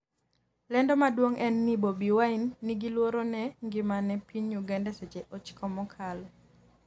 lendo maduong' en ni Bobi Wine 'ni gi luoro ne ngimane' e piny Uganda seche 9 mokalo